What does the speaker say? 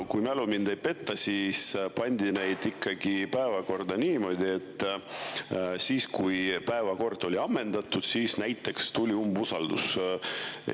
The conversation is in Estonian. Kui mälu mind ei peta, siis pandi neid päevakorda niimoodi, et kui päevakord oli ammendatud, siis tuli umbusaldus.